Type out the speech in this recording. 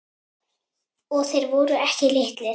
Og þeir voru ekki litlir.